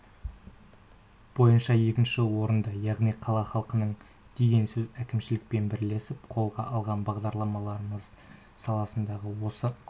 бойынша екінші орында яғни қала халқының деген сөз әкімшілікпен бірлесіп қолға алған бағдарламаларымыз саласындағы осы